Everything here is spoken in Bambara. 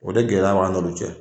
O de gɛlɛya b'an yɛrɛw cɛ.